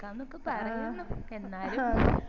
ആകാന്നൊക്കെ പറയുന്നു എന്നാലും